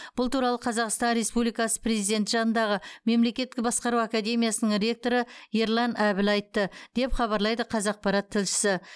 бұл туралы қазақстан республикасы президенті жанындағы мемлекеттік басқару академиясының ректоры ерлан әбіл айтты деп хабарлайды қазақпарат тілшісі